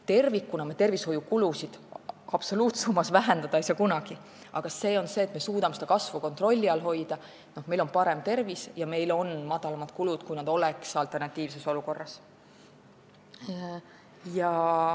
Tervikuna me tervishoiukulusid absoluutsummas vähendada ei saa kunagi, aga me suudame nende kasvu kontrolli all hoida, meil on parem tervis ja meil on madalamad kulud, kui oleks alternatiivses olukorras.